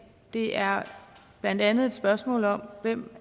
det er blandt andet et spørgsmål om hvem